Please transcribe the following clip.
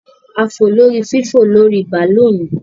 A fò lórí fífò-lórí-bàlóònù